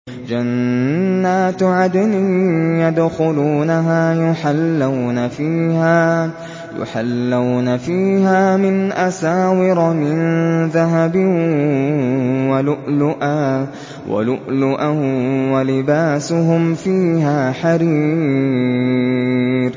جَنَّاتُ عَدْنٍ يَدْخُلُونَهَا يُحَلَّوْنَ فِيهَا مِنْ أَسَاوِرَ مِن ذَهَبٍ وَلُؤْلُؤًا ۖ وَلِبَاسُهُمْ فِيهَا حَرِيرٌ